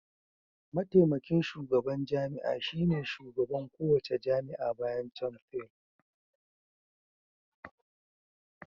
Mataimakin shugaban jami'a shine shugaban kowace jami'a bayan Chancellor.